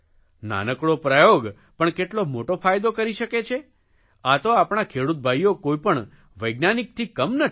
નાનકડો પ્રયોગ પણ કેટલો મોટો ફાયદો કરી શકે છે આ તો આપણા ખેડૂત ભાઇઓ કોઇ પણ વૈજ્ઞાનિકથી કમ નથી